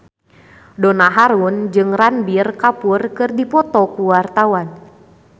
Donna Harun jeung Ranbir Kapoor keur dipoto ku wartawan